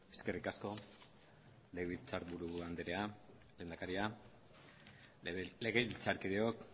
eskerrik asko legebiltzarburu andrea lehendakaria legebiltzarkideok